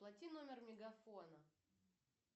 оплати номер мегафона